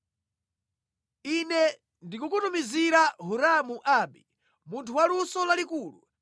“Ine ndikukutumizira Hiramu Abi, munthu wa luso lalikulu,